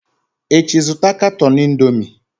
Echi, zụta katọn Indomie!